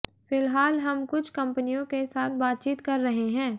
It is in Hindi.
फिलहाल हम कुछ कंपनियों के साथ बातचीत कर रहे हैं